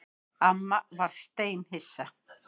Amma var steinhissa.